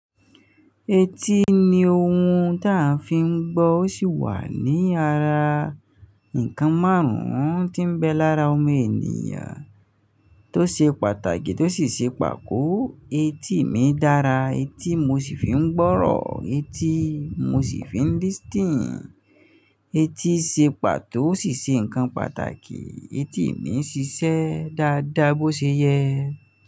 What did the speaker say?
Etí ni ohun tí à ń fi ń gbọ́, ó sì wà ní ara nnkan márùn-ún tí ń bẹ lára ọmọ ènìyàn tó ṣe pàtàkì tó sì ṣe pàkó. Etí mi dára, etí mo sì fi ń gbọ́rọ̀, etí mo sì fi ń listening, etí ṣe pàtó, ó sì ṣe ǹkan pàtàkì, etí mi ń ṣiṣẹ́ dáadáa bó ṣe yẹ.